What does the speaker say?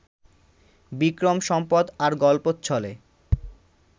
বিক্রম সম্পদ আর গল্পচ্ছলে